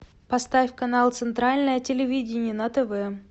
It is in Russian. поставь канал центральное телевидение на тв